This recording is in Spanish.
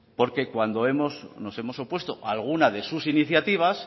porque cuando nos hemos opuesto a alguna de sus iniciativas